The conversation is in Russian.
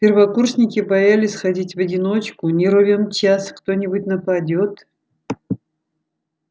первокурсники боялись ходить в одиночку не ровен час кто-нибудь нападёт